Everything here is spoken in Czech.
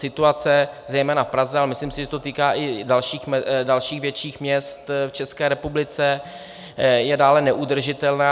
Situace zejména v Praze, ale myslím si, že se to týká i dalších větších měst v České republice, je dále neudržitelná.